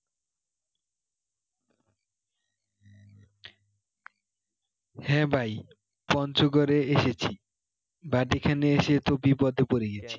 হ্যাঁ ভাই পঞ্চগড়ে এসেছি but এখানে এসে তো বিপদে পড়ে গেছি